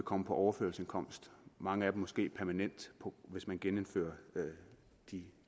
komme på overførselsindkomst mange af dem måske permanent hvis man genindfører de